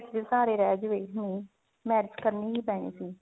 ਸਹਾਰੇ ਰਿਹ ਜਾਵੇ ਹਮ marriage ਕਰਨੀ ਹੀ ਕਰਨੀ